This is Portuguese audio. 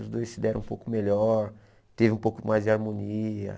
Os dois se deram um pouco melhor, teve um pouco mais de harmonia.